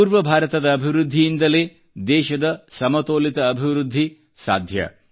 ಪೂರ್ವ ಭಾರತದ ಅಭಿವೃದ್ಧಿಯಿಂದಲೇ ದೇಶದ ಸಮತೋಲಿತ ಆರ್ಥಿಕ ಅಭಿವೃದ್ಧಿ ಸಾಧ್ಯ